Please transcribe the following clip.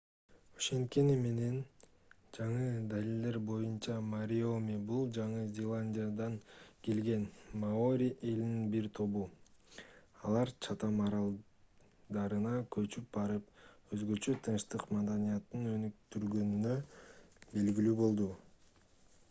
ошенткени менен жаңы далилдер боюнча мариори бул жаңы зеландиядан келген маори элинин бир тобу алар чатам аралдарына көчүп барып өзгөчө тынчтык маданиятын өнүктүргөнү белгилүү болду